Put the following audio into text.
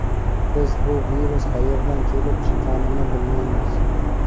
Biz bu virus qayerdan kelib chiqqanini bilmaymiz.